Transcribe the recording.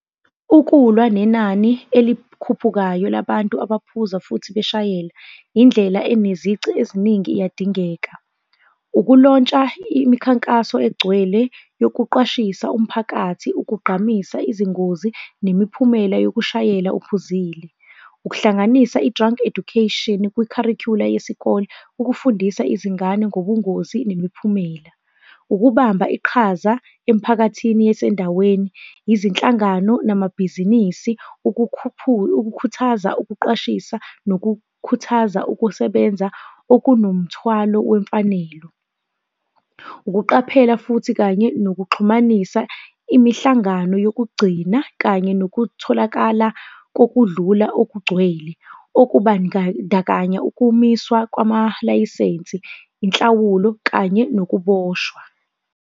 Ukulwa nenani elikhuphukayo labantu abaphuza futhi beshayela, indlela enezici eziningi iyadingeka. Ukulontsha imikhankaso egcwele yokuqwashisa umphakathi ukugqamisa izingozi nemiphumela yokushayela uphuzile. Ukuhlanganisa i-Drunk Education kwi-curricular yesikole ukufundisa izingane ngobungozi nemiphumela. Ukubamba iqhaza emphakathini yasendaweni, izinhlangano namabhizinisi ukukhuthaza ukuqwashisa, nokukhuthaza ukusebenza okunomthwalo wemfanelo. Ukuqaphela futhi kanye nokuxhumanisa imihlangano yokugcina kanye nokutholakala kokudlula okugcwele, okubandakanya ukumiswa kwamalayisensi, inhlawulo kanye nokuboshwa.